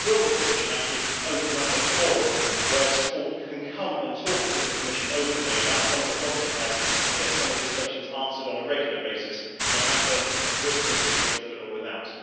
Will the Commission actually open up a forum where sport can come and talk to the Commission openly about some of the problems it has and get some of these questions answered on a regular basis no matter with the Treaty of Lisbon or without?